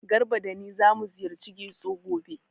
Garba da ni zamu ziyarci Getso gobe.